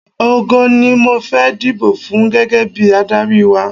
Ògo ni mo fẹ́ dibò fún gẹ́gẹ́ bí adárí wa.